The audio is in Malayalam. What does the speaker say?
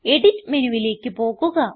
എഡിറ്റ് മെനുവിലേക്ക് പോകുക